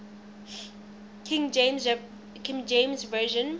king james version